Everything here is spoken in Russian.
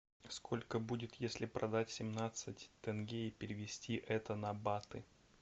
сколько будет если продать семнадцать тенге и перевести это на баты